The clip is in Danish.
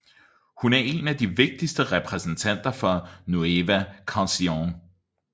Hun er en af de vigtigste repræsentanter for nueva canción